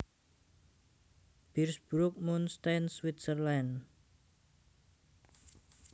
Birsbrucke Munchenstein Switzerland